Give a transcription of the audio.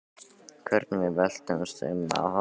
Hvernig við veltumst um af hlátri.